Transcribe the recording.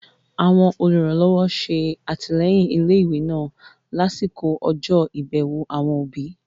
Àwọn olùrànlọ́wọ́ ṣe àtìlẹ́yìn ilé ìwé náà lásìkò ọjọ́ ìbẹ̀wò àwọn òbí